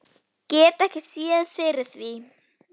Get ekki séð fyrir því.